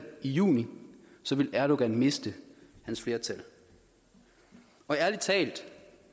i juni og så ville erdogan miste sit flertal ærlig talt